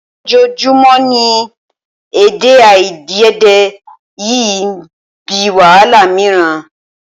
Ojoojúmọ́ ni èdèàìyedè yìí ń bí wàhálà mìíràn